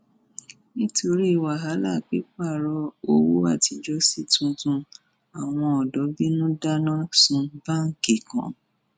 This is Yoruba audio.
nítorí wàhálà pípààrọ owó àtijọ sí tuntun àwọn ọdọ bínú dáná sun báńkì kan